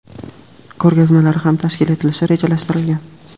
ko‘rgazmalari ham tashkil etilishi rejalashtirilgan.